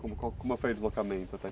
Como como foi o deslocamento até aqui?